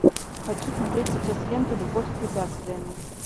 хочу смотреть сейчас ленту любовь с препятствиями